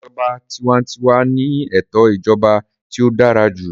Ìjọba tiwantiwa ni ètò ìjọba tí ó dára jù